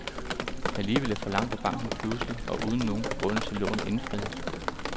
Alligevel forlangte banken pludselig og uden nogen begrundelse lånet indfriet.